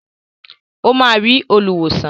Ó máa rí olùwòsàn.